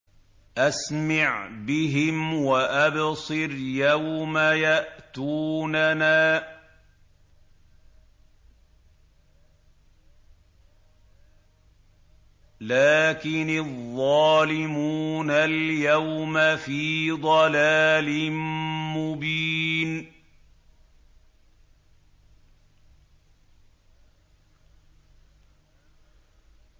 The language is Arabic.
أَسْمِعْ بِهِمْ وَأَبْصِرْ يَوْمَ يَأْتُونَنَا ۖ لَٰكِنِ الظَّالِمُونَ الْيَوْمَ فِي ضَلَالٍ مُّبِينٍ